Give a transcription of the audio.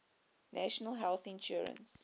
national health insurance